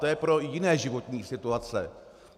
To je pro jiné životní situace.